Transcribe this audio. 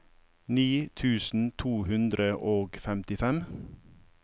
ni tusen to hundre og femtifem